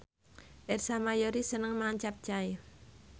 Ersa Mayori seneng mangan capcay